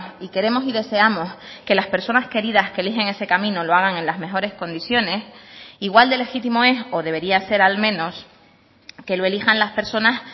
y queremos y deseamos que las personas queridas que eligen ese camino lo hagan en las mejores condiciones igual de legítimo eso debería ser al menos que lo elijan las personas